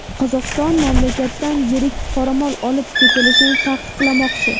Qozog‘iston mamlakatdan yirik qoramol olib ketilishini taqiqlamoqchi.